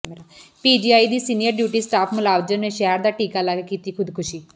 PGI ਦੀ senior duty staff ਮੁਲਾਜ਼ਮ ਨੇ ਜ਼ਹਿਰ ਦਾ ਟੀਕਾ ਲਾ ਕੇ ਕੀਤੀ ਖ਼ੁਦਕੁਸ਼ੀ